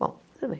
Bom, tudo bem.